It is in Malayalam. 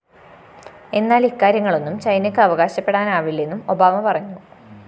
എന്നാല്‍ ഇക്കാര്യങ്ങളൊന്നും ചൈനക്ക് അവകാശപ്പെടാനാവില്ലെന്നും ഒബാമ പറഞ്ഞു